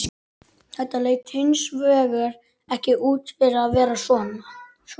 Þetta leit hins vegar ekki út fyrir að vera svo.